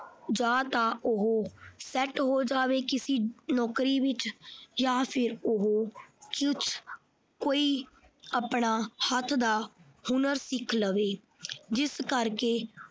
ਜਾਂ ਤਾਂ ਉਹ set ਹੋ ਜਾਵੇ ਕਿਸੇ ਨੌਕਰੀ ਵਿੱਚ ਜਾਂ ਫਿਰ ਉਹ ਕੁਛ ਉਹ ਕੋਈ ਆਪਣਾ ਹੱਥ ਦਾ ਹੁਨਰ ਸਿੱਖ ਲਵੇ ਜਿਸ ਕਰਕੇ।